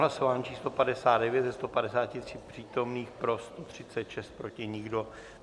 Hlasování číslo 59, ze 153 přítomných pro 136, proti nikdo.